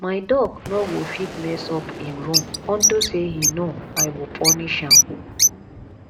my dog no go fit mess up im room unto say he know i go punish am